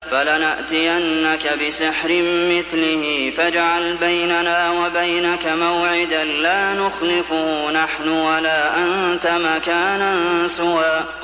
فَلَنَأْتِيَنَّكَ بِسِحْرٍ مِّثْلِهِ فَاجْعَلْ بَيْنَنَا وَبَيْنَكَ مَوْعِدًا لَّا نُخْلِفُهُ نَحْنُ وَلَا أَنتَ مَكَانًا سُوًى